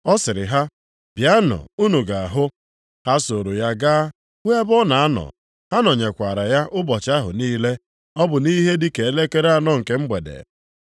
Ọ sịrị ha, “Bịanụ, unu ga-ahụ.” Ha sooro ya ga hụ ebe ọ na-anọ. Ha nọnyekwara ya ụbọchị ahụ niile. Ọ bụ nʼihe dị ka elekere anọ nke mgbede.